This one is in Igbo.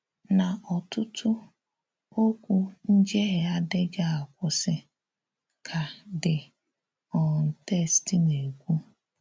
“N’ọ̀tụ̀tù̀ okwu njehie adịghị akwụsị,” ka the um text na-ekwu.